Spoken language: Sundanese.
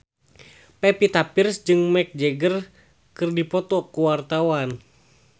Pevita Pearce jeung Mick Jagger keur dipoto ku wartawan